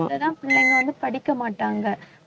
பிள்ளைங்க வந்து படிக்க மாட்டாங்க